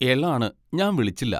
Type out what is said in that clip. എളാണ് ഞാൻ വിളിച്ചില്ല.